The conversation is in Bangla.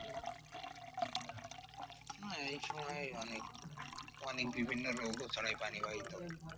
না এই সময় অনেক অনেক বিভিন্ন রোগও ছড়ায় পানিবাহিত।